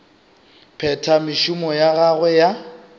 phetha mešomo ya gagwe ya